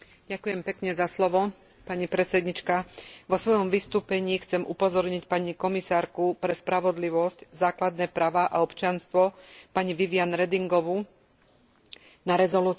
Vo svojom vystúpení chcem upozorniť pani komisárku pre spravodlivosť, základné práve a občianstvo, pani Viviane Redingovú, na rezolúciu, ktorú prijala Európska asociácia sudcov